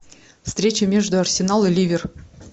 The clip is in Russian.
встреча между арсенал и ливер